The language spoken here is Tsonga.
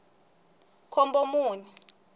khombomuni